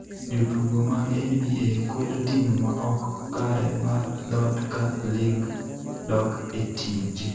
Jotugo mag NBA kwedo tim ma ok kare mar dhot ka lig dok e tije